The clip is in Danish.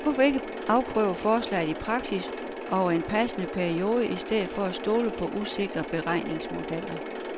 Hvorfor ikke afprøve forslaget i praksis over en passende periode i stedet for at stole på usikre beregningsmodeller.